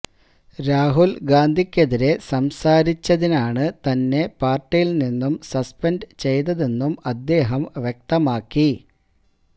രാഹുല് ഗാന്ധിക്കെതിരെ സംസാരിച്ചതിനാണ് തന്നെ പാര്ട്ടിയില് നിന്ന് സസ്പെന്ഡ് ചെയ്തതെന്നും അദ്ദേഹം വ്യക്തമാക്കി